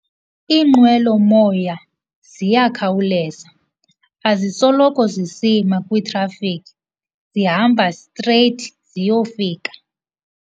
Iinqwelomoya ziyakhawuleza, azisoloko zisima kwitrafikhi, zihamba streyithi ziyofika.